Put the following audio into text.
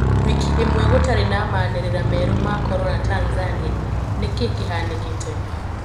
Wiki imwe gũtarĩ na maanirira merũ ma Corona Tanzania, niki kihanikite?